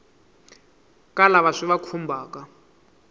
ka lava swi va khumbhaka